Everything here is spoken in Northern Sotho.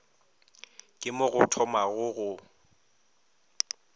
ke mo go thomago go